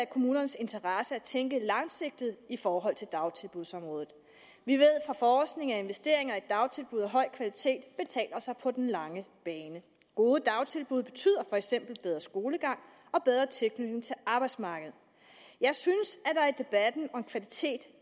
kommunernes interesse at tænke langsigtet i forhold til dagtilbudsområdet vi ved fra forskning at investeringer i dagtilbud af høj kvalitet betaler sig på den lange bane gode dagtilbud betyder for eksempel bedre skolegang og bedre tilknytning til arbejdsmarkedet jeg synes at der i debatten om kvalitet